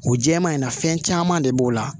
O jɛman in na fɛn caman de b'o la